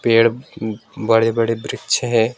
पेड़ बड़े बड़े वृक्ष है।